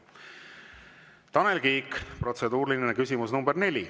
Tanel Kiik, protseduuriline küsimus nr 4.